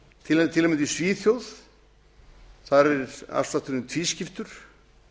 til að mynda í svíþjóð þar er afslátturinn tvískiptur